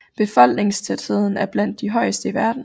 Befolkningstætheden er blandt de højeste i verden